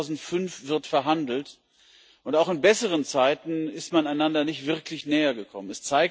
Seit 2005 wird verhandelt, und auch in besseren Zeiten ist man einander nicht wirklich nähergekommen.